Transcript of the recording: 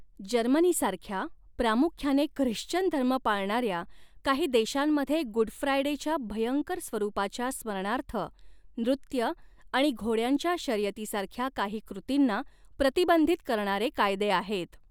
जर्मनीसारख्या प्रामुख्याने ख्रिश्चन धर्म पाळणाऱ्या काही देशांमध्ये गुड फ्रायडेच्या भयंकर स्वरूपाच्या स्मरणार्थ नृत्य आणि घोड्यांच्या शर्यतीसारख्या काही कृतींना प्रतिबंधित करणारे कायदे आहेत.